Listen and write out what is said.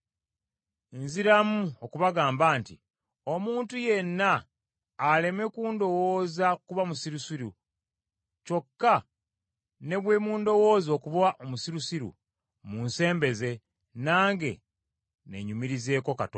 Nziramu okubagamba nti omuntu yenna aleme kundowooza kuba musirusiru; kyokka ne bwe mundowooza okuba omusirusiru, munsembeze, nange neenyumirizeeko katono.